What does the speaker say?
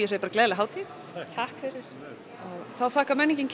gleðilega hátíð takk fyrir þá þakkar menningin